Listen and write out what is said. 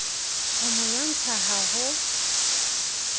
ho mo lwantsha ha ho